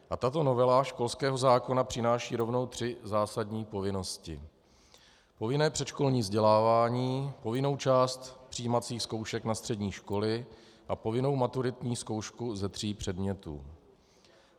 A tato novela školského zákona přináší rovnou tři zásadní povinnosti: povinné předškolní vzdělávání, povinnou část přijímacích zkoušek na střední školy a povinnou maturitní zkoušku ze tří předmětů.